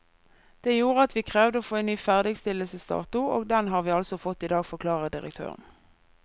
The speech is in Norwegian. Det gjorde at vi krevde å få en ny ferdigstillelsesdato, og den har vi altså fått i dag, forklarer direktøren.